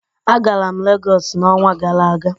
Agara m Legọsị n'ọnwa gara aga.